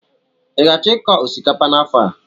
Ị ga-achọ ịkọ osikapa n'afọ a?